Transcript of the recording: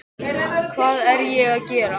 Hvað er ég að gera?